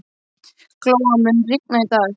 Glóa, mun rigna í dag?